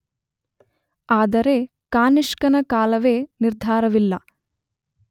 ಆದರೆ ಕಾನಿಷ್ಕನ ಕಾಲವೇ ನಿರ್ಧಾರವಿಲ್ಲ